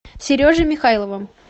сережей михайловым